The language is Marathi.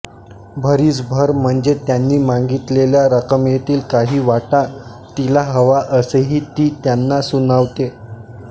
भरीस भर म्हणजे त्यांनी मागितलेल्या रकमेतील काही वाटा तिला हवा असेही ती त्यांना सुनावते